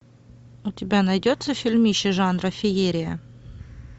у тебя найдется фильмище жанра феерия